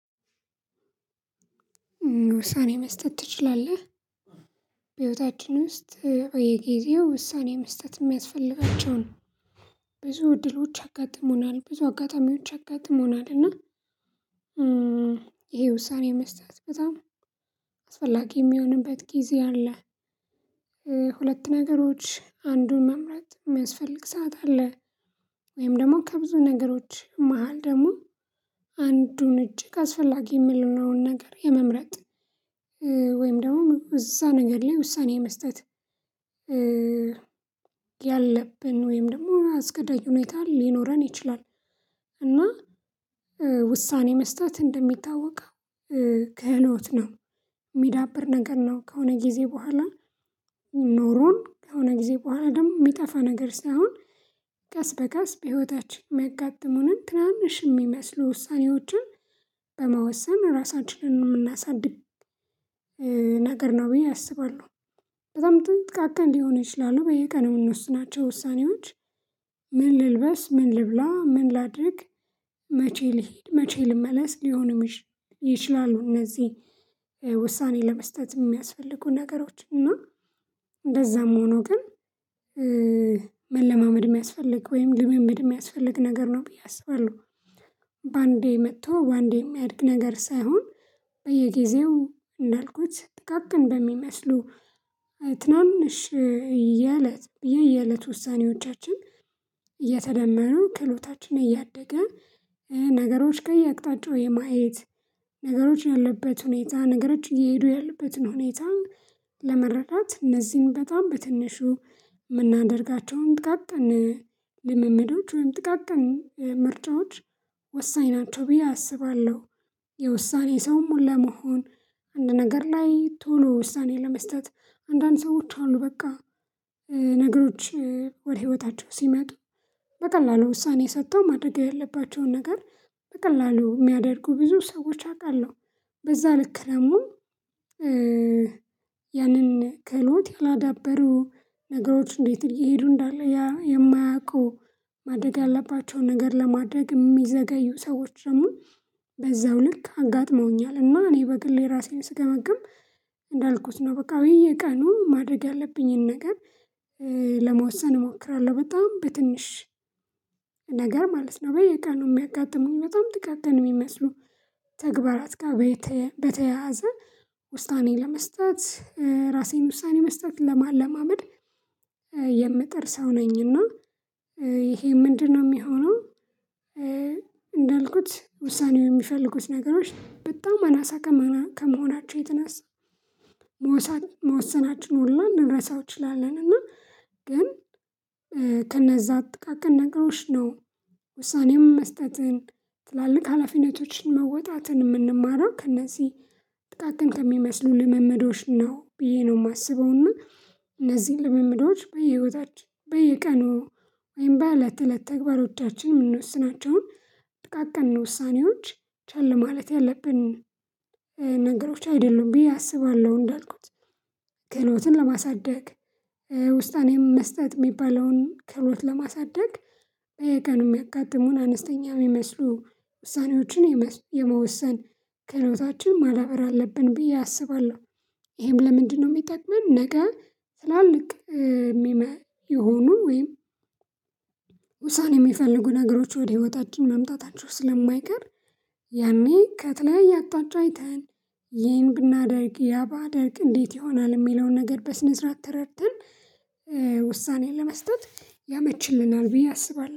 ውሳኔ መስጠት ትችላለህ? በህይወታችን ውስጥ በየጊዜው ውሳኔ መስጠት የሚያስፈልጋቸው ብዙ እድሎች አጋጥሞናል ብዙ አጋጣሚዎች አጋጥሞናል እና ይሄ ውሳኔ መስጠት በጣም አስፈላጊ የሚሆንበት ጊዜ አለ። ሁለት ነገሮች አንዱን መምረጥ የሚያስፈልግ ሰዓት አለ ወይም ደግሞ ከብዙ ነገሮች መሃል ደግሞ አንዱን እጅግ አስፈላጊ የምልነውን ነገር የመምረጥ ወይም ደግሞ እዛ ነገር ላይ ውሳኔ መስጠት ያለብን ወይም ደግሞ አስገዳጅ ሁኔታ ሊኖረን ይችላል። እና ውሳኔ መስጠት እንደሚታወቀው ክህሎት ነው የሚዳብር ነገር ነው ከሆነ ጊዜ በኋላ ኖሮን ከሆነ ጊዜ በኋላ ደግሞ የሚጠፋ ነገር ሳይሆን ቀስ በቀስ በህይወታችን የሚያጋጥሙንን ትናንሽ የሚመስሉ ውሳኔዎችን በመወሰን ራሳችንን የምናሳድግ ነገር ነው ብዬ አስባለሁ። በጣም ጥቃቅን ሊሆን ይችላል በየቀኑ የምንወስናቸው ውሳኔዎች ምን ልልበስ ምን ልብላ ምን ላድርግ መቼ ልሂድ መቼ ልመለስ ሊሆንም ይችላሉ እነዚህ ውሳኔ ለመስጠት የሚያስፈልጉ ነገሮች እና እንደዛም ሆኖ ግን መለማመድ የሚያስፈልግ ወይም ልምምድ የሚያስፈልግ ነገር ነው ብዬ አስባለሁ። በአንዴ መጥቶ በአንዴ የሚያድግ ነገር ሳይሆን በየጊዜው እንዳልኩት ጥቃቅን በሚመስሉ ትናንሽ የእለት የየእለት ውሳኔዎቻችን እየተደመሩ ክህሎታችን እያደገ ነገሮች ከየአቅጣጫው የማየት ነገሮች ያለበት ሁኔታ ነገሮች እየሄዱ ያለበትን ሁኔታ ለመረዳት እነዚህን በጣም በትንሹ የምናደርጋቸውን ጥቃቅን ልምምዶች ወይም ጥቃቅን ምርጫዎች ወሳኝ ናቸው ብዬ አስባለሁ። የውሳኔ ሰውም ለመሆን አንድ ነገር ላይ ቶሎ ውሳኔ ለመስጠት አንዳንድ ሰዎች አሉ በቃ ነገሮች ወደ ህይወታቸው ሲመጡ በቀላሉ ውሳኔ ሰጥተው ማድረግ ያለባቸውን ነገር በቀላሉ የሚያደርጉ ብዙ ሰዎች አውቃለሁ። በዛ ልክ ደግሞም ክህሎት ያላዳበሩ ነገሮች እንዴት እየሄዱ እንዳለ ያ የማያውቀው ያለባቸውን ነገር ለማድረግ የሚዘገዩ ሰዎች ደግሞ በዛው ልክ አጋጥመውኛል። እና እኔ በግሌ ራሴን ስገመግም እንዳልኩት ነው በቃ ወይ ቀኑ ማድረግ ያለብኝን ነገር ለመወሰን እሞክራለሁ በጣም በትንሽ ነገር ማለት ነው። በየቀኑ የሚያጋጥሙኝ በጣም ጥቃቅን የሚመስሉ ተግባራት ጋር በተያያዘ ውስጣኔ ለመስጠት ራሴን ውሳኔ መስጠት ለማለማመድ የምጥር ሰው ነኝና። ይሄ ምንድነው የሚሆነው? እንዳልኩት ውሳኔው የሚፈልጉት ነገሮች በጣም አናሳ ከመሆናቸው የተነሳ መወሰናችን ሁላ ልንረሳው እንችላለን እና ግን ከነዛ ጥቃቀን ነገሮች ነው ውሳኔም መስጠትን ትላልቅ ሀላፊነቶችን መወጣትን የምንማረው ከእነዚህ ጥቃቅን ከሚመስሉ ልምምዶች ነው ብዬ ነው የማስበው። እና እነዚህን ልምምዶች በየህይወታችን በየቀኑ ወይም በእለት እለት ተግባሮቻችን የምንወስናቸውን ጥቃቅን ውሳኔዎች ቸል ማለት ያለብን ነገሮች አይደሉም ብዬ አስባለሁ። እንዳልኩት ክህሎትን ለማሳደግ ውስናኔም መስጠት የሚባለውን ክህሎት ለማሳደግ በየቀኑ የሚያጋጥሙን አነስተኛ የሚመስሉ ውሳኔዎችን የመወሰን ክህሎታችን ማዳበር አለብን ብዬ አስባለሁ። ይሄም ለምንድነው የሚጠቅመን? ነገ ትላልቅ የሚመ የሆኑ ወይም ውሳኔ የሚፈልጉ ነገሮች ወደ ህይወታችን መምጣታቸው ስለማይቀር ያኔ ከተለያየ አቅጣጫ አይተን ይሄን ብናደርግ ያ ባደርግ እንዴት ይሆናል የሚለውን ነገር በስነ ስርዓት ተረድተን ውሳኔ ለመስጠት ያመችልናል ብዬ አስባለሁ